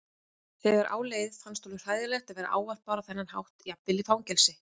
Þegar á leið fannst honum hræðilegt að vera ávarpaður á þennan hátt jafnvel í fangelsi.